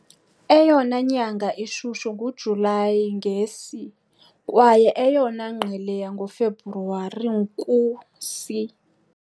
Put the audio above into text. Eyona nyanga ishushu nguJulayi, nge- C, kwaye eyona ngqele yangoFebruwari, ku C.